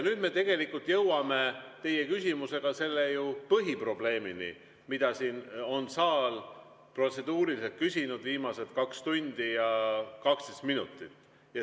Nüüd me jõuame teie küsimusega selle põhiprobleemini, mida siin on saal protseduuriliselt küsinud viimased 2 tundi ja 12 minutit.